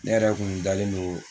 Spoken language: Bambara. Ne yɛrɛ kun dalenlen don